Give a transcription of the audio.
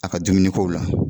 A ka dumuni kow la.